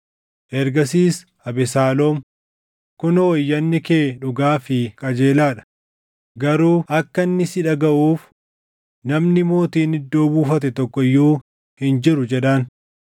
Ergasiis Abesaaloom, “Kunoo iyyanni kee dhugaa fi qajeelaa dha; garuu akka inni si dhagaʼuuf namni mootiin iddoo buufate tokko iyyuu hin jiru” jedhaan.